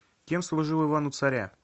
кем служил иван у царя